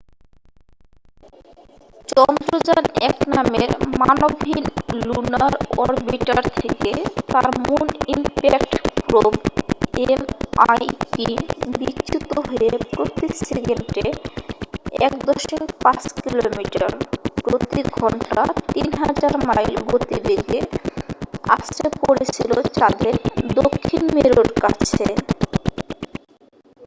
চন্দ্রযান -1 নামের মানবহীন lunar orbiter থেকে তার মুন ইমপ্যাক্ট প্রোবএমআইপি বিচ্যুত হয়ে প্রতি সেকেন্ডে 1.5 কিলোমিটার প্রতি ঘন্টা 3000 মাইল গতিবেগে আছড়ে পড়েছিল চাঁদের দক্ষিণ মেরুর কাছে।